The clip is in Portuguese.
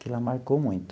Aquilo lá marcou muito.